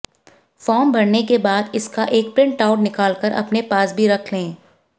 form भरने के बाद इसका एक प्रिंट आउट निकालकर अपने पास भी रख लें